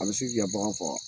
A bɛ se k'i ka bagan faga.